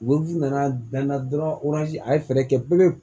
nana bɛn na dɔrɔn a ye fɛɛrɛ kɛ pewu